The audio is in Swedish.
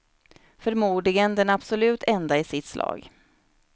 Förmodligen den absolut enda i sitt slag.